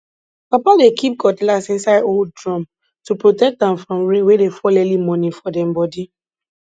papa dey keep cutlass inside old drum to protect am from rain wey dey fall early morning for dem bodi